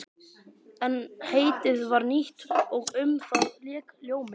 En heitið var nýtt og um það lék ljómi.